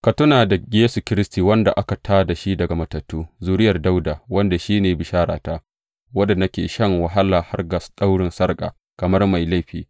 Ka tuna da Yesu Kiristi, wanda aka tā da shi daga matattu, zuriyar Dawuda, wanda shi ne bisharata, wadda nake shan wahala har ga daurin sarƙa kamar mai laifi.